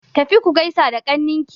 Tafi ku gaisa da ƙnawanki!